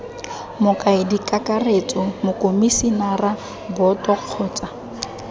mokaedi kakaretso mokomisinara boto kgotsa